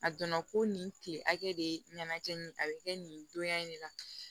A donna ko nin kile hakɛ de ɲɛnajɛ nin a bɛ kɛ nin donya in de la